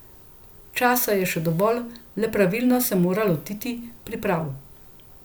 Časa je še dovolj, le pravilno se morate lotiti priprav.